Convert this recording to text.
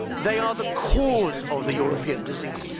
They are the cause of the European disease.